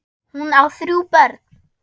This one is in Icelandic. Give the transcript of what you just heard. Hún á þrjú börn.